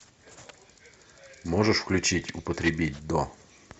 можешь включить употребить до